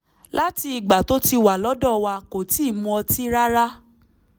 láti ìgbà tó ti wà lọ́dọ̀ wa kò tíì mu ọtí rárá